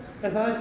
er það